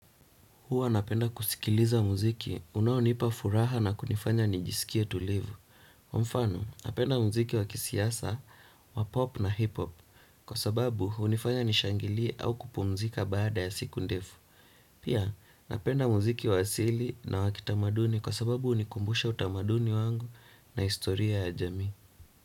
Huwa napenda kusikiliza muziki unaonipa furaha na kunifanya nijisikie tulivu. Mfano, napenda muziki wa kisiasa wa pop na hiphop kwa sababu hunifanya nishangilie au kupumzika baada ya siku ndefu. Pia, napenda muziki wa asili na wa kitamaduni kwa sababu hunikumbusha utamaduni wangu na historia ya jamii.